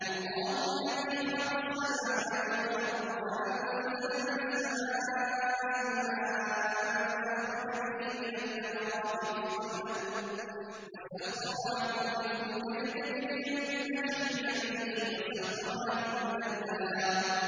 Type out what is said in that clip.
اللَّهُ الَّذِي خَلَقَ السَّمَاوَاتِ وَالْأَرْضَ وَأَنزَلَ مِنَ السَّمَاءِ مَاءً فَأَخْرَجَ بِهِ مِنَ الثَّمَرَاتِ رِزْقًا لَّكُمْ ۖ وَسَخَّرَ لَكُمُ الْفُلْكَ لِتَجْرِيَ فِي الْبَحْرِ بِأَمْرِهِ ۖ وَسَخَّرَ لَكُمُ الْأَنْهَارَ